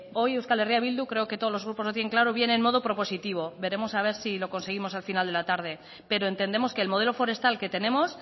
hoy euskal herria bildu creo que todos los grupos lo tienen claro viene en modo propositivo veremos a ver si lo conseguimos al final de la tarde pero entendemos que el modelo forestal que tenemos